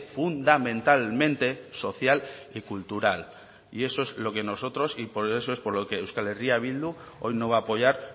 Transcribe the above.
fundamentalmente social y cultural y eso es lo que nosotros y por eso es por lo que euskal herria bildu hoy no va a apoyar